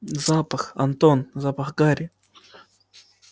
запах антон запах гари